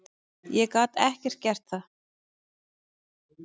Ég gat ekki gert það.